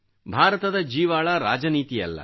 ಭಾರತದ ಜೀವಾಳ ರಾಜನೀತಿಯಲ್ಲ